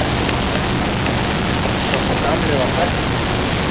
Og sá gamli var hræddur.